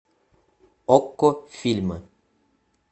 окко фильмы